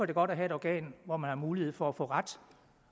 det godt at have et organ hvor der er mulighed for at få ret